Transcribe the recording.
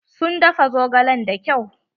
Sun dafa zogalen da kyau.